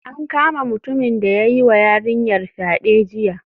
An kama mutumin da ya yiwa yarinyar fyade jiya